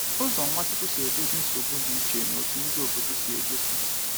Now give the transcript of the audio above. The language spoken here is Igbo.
Ụzọ Nwachukwu si edozi nsogbu dị iche na etu ndị obodo si edozi.